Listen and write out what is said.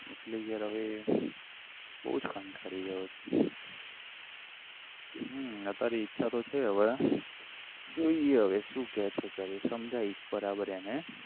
એટલે યાર હવે બહુ જ કંટાલી ગયો છું હમ અત્યારે ઈચ્છા તો છે હવે જોઈએ હવે શું કહે છે ઘરે સમજાઇસ બરાબર એને